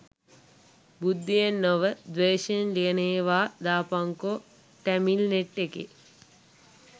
බුද්ධියෙන් නොව ද්වේශයෙන් ලියන ඒවා දාපංකො ටැමිල්නෙට් එකෙ